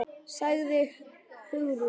sagði Hugrún.